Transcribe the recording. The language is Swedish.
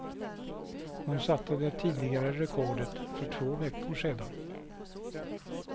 Hon satte det tidigare rekordet för två veckor sedan.